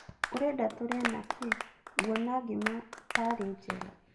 Ũrenda tũrĩe na kĩ? nguona ngima tarĩ njega .